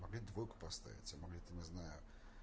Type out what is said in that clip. могли двойку поставить а могли там не знаю